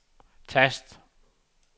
tast